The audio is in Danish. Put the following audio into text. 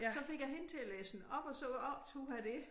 Så fik jeg hende til at læse den op og så optog jeg det